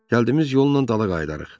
Gəldiyimiz yolla dala qayıdarıq.